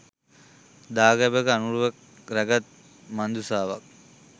දාගැබක අනුරුවක් රැගත් මංජුසාවක්